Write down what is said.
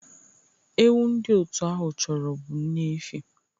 Ewu ndị otu ahụ chọrọ bụ nne efi